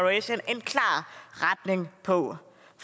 retning på